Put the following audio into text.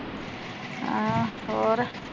ਅਹਆ ਹੋਰ